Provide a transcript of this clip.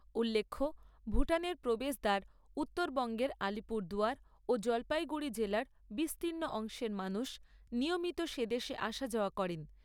উল্লেখ্য, ভুটানের প্রবেশদ্বার উত্তরবঙ্গের আলিপুরদুয়ার জলপাইগুড়ি জেলার বিস্তীর্ণ অংশের মানুষ নিয়মিত সে দেশে আসা যাওয়া করেন।